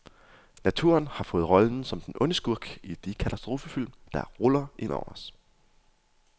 Naturen har fået rollen som den onde skurk i de katastrofefilm, der ruller ind over os.